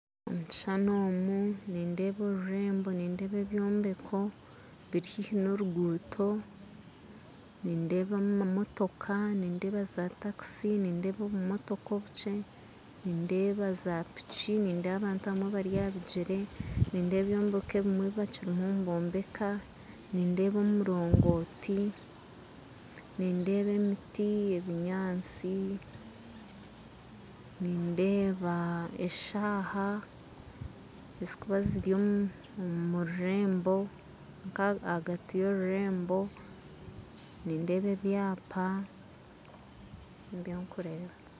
Omu kishushani omu nindeeba orurembo nindeeba ebyombeko biri haihi na oruguuto nindeebamu mamotoka nindeeba za taxi nindeeba obumotoka obukye nindeeba za piki nindeeba abantu abamwe bari ahabigyere nindeeba ebyombeko ebimwe ebibakiri niboombeka nindeeba omurongooti nindeeba emiti ebinyaatsi nindeeba eshaaha ezikuba ziri omururembo kandi hagati y'orurembo nindeeba ebyapa nibyo nkureeba